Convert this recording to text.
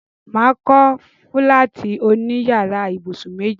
Mà á kọ́ fúláàtì oní yàrá ibùsùn méjì.